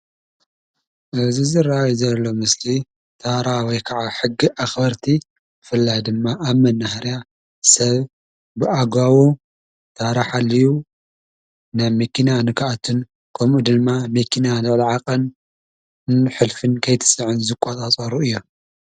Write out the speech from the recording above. እዚ ዝርኣይ ዘሎ ምስሊ ታራ ወይ ከዓ ሕጊ ኣኽበርቲ ብፍላይ ድማ ኣብ መናሃርያ ሰብ ብኣግባቡ ታራ ሓልዩ ናብ መኪና ንክኣቱን ከምኡ ድማ መኪና ልዕሊ ዓቐን ሕልፍን ከይትፅዕን ዝቆፃፀሩ እዮም፡፡